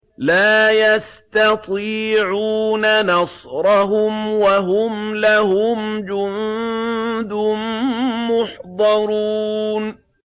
لَا يَسْتَطِيعُونَ نَصْرَهُمْ وَهُمْ لَهُمْ جُندٌ مُّحْضَرُونَ